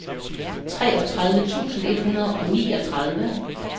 treogtredive tusind et hundrede og niogtredive